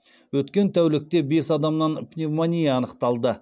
өткен тәулікте бес адамнан пневмония анықталды